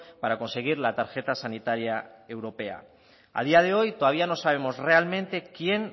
para conseguir la tarjeta sanitaria europea a día de hoy todavía no sabemos realmente quién